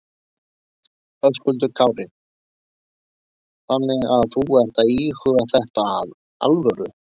Höskuldur Kári: Þannig að þú ert að íhuga þetta af alvöru?